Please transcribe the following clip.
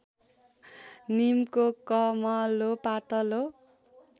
नीमको कमलो पातको